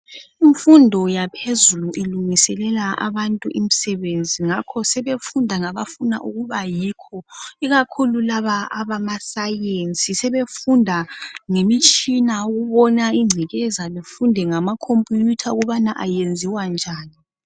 Imfundo yaphezulu ilungiselelwa abantu imisebenzi ngakho sebefunda nga bafuna ukuba yikho ikakhulu labo abama sainzi sebefunda ngemitshina ukubona igcekeza befunde ngama khompuyutha ukubana ayenziwa njani.